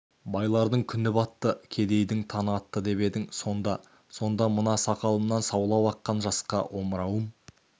байлардың күні батты кедейдің таңы атты деп едің сонда сонда мына сақалымнан саулап аққан жасқа омырауым